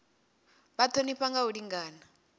vha thonifha nga u lingana